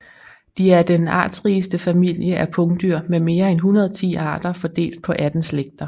De er den artsrigeste familie af pungdyr med mere end 110 arter fordelt på 18 slægter